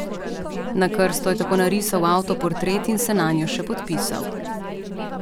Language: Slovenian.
Na krsto je tako narisal avtoportret in se nanjo še podpisal.